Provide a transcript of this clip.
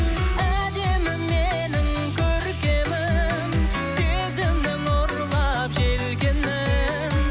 әдемім менің көркемім сезімнің ұрлап желкенін